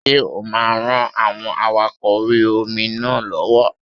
Ṣé o máa ran àwọn awakọ̀ orí-omi náà lọ́wọ́?